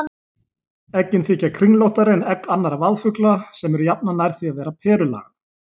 Eggin þykja kringlóttari en egg annarra vaðfugla sem eru jafnan nær því að vera perulaga.